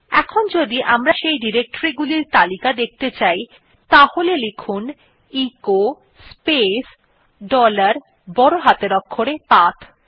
এখন যদি আমরা সেই ডিরেক্টরী গুলির তালিকা দেখতে চাই তাহলে echo space dollar capital A path command টি লিখুন